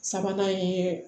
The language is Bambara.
Sabanan ye